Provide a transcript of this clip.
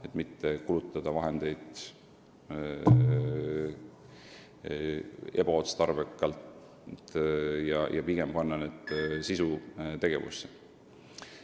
Me ei taha kulutada vahendeid ebaotstarbekalt, vaid pigem panna neid sisutegevusse.